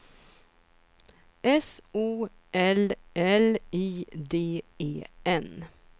S O L L I D E N